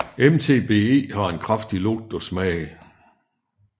MTBE har en kraftig lugt og smag